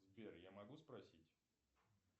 сбер я могу спросить